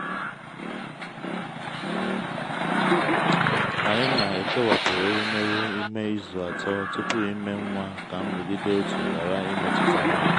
anyị na-ekewapụ ewumewụ ime izu atọ tupu ime nwa ka nrụgide òtù ghara imetụta ha.